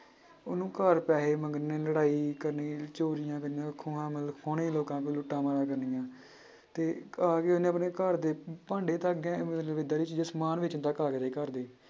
ਉਹਨੂੰ ਘਰ ਪੈਸੇ ਮੰਗਣੇ, ਲੜਾਈ ਕਰਨੀਆਂ, ਚੋਰੀਆਂ ਕਰਨੀਆਂ ਖੋਹਣਾ ਮਤਲਬ ਖੋਹਣੇ ਲੋਕਾਂ ਤੋਂ ਲੁੱਟਾਂ ਮਾਰਾਂ ਕਰਨੀਆਂ ਤੇ ਆ ਕੇ ਉਹਨੇ ਆਪਣੇ ਘਰਦੇ ਭਾਂਡੇ ਤੱਕ ਗੇ~ ਮਤਲਬ ਏਦਾਂ ਦੀਆਂ ਚੀਜ਼ਾਂ ਸਮਾਨ ਵੇਚਣ ਤੱਕ ਆ ਗਿਆ ਸੀ ਘਰਦੇ।